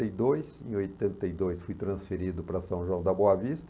oitenta e dois, em oitenta e dois fui transferido para São João da Boa Vista.